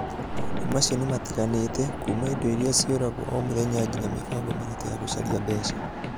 Maũndũ macio nĩ matiganĩte, kuuma indo iria ciũragwo o mũthenya nginya mĩbango mĩritũ ya gũcaria mbeca.